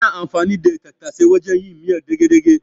Ana anfani da tattasai wajen yin miyar dage-dage.